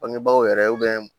Bangebaaw yɛrɛ